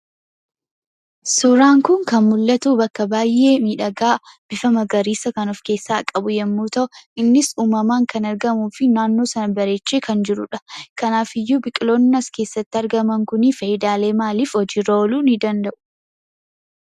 Suuraan kun kan mul'atu bakka baay'ee miidhagaa bifa magariisa kan of keessaa qabu yommuu ta'u, innis uumamaan kan argamuufi naannoo sana bareechee kan jirudha. Kanaafiyyuu biqiloonni as keessatti argaman kun faayidaalee maaliif hojiirra ooluu danda'u?